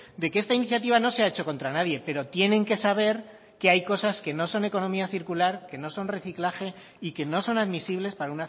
de que esta iniciativa no se ha hecho contra nadie pero tienen que saber que hay cosas que no son economía circular que no son reciclaje y que no son admisibles para